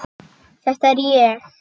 Þetta er ég.